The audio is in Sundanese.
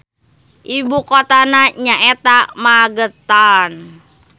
Ibukotana nyaeta Magetan.